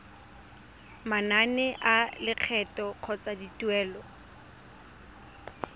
manane a lekgetho kgotsa dituelo